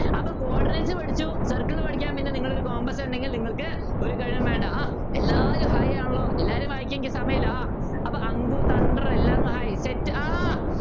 അപ്പൊ coordinates പഠിച്ചു circle പഠിക്കാൻ പിന്നെ നിങ്ങൾ ഒരു compass ഉണ്ടെങ്കിൽ നിങ്ങൾക്ക് ഒരു കഴിവും വേണ്ട ആഹ് എല്ലാവരും hi ആണല്ലോ എല്ലാരും വായിക്കാൻ എനിക്ക് സമയമില്ല ആഹ് അപ്പൊ അങ്കു തണ്ടർ എല്ലാർക്കും hi